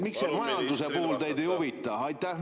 Miks see majanduse puhul teid ei huvita?